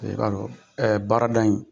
baarada ,